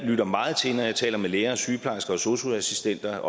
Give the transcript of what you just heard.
lytter meget til når jeg taler med læger og sygeplejersker og sosu assistenter